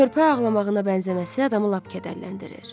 Körpə ağlamağına bənzəməsi adamı lap kədərləndirir.